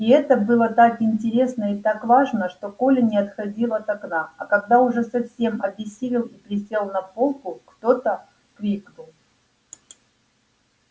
и это было так интересно и так важно что коля не отходил от окна а когда уже совсем обессилел и присел на полку кто-то крикнул